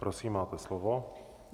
Prosím, máte slovo.